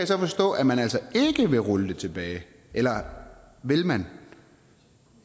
så forstå at man altså ikke vil rulle det tilbage eller vil man